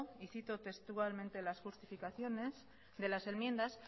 y cito textualmente las justificaciones de las enmiendas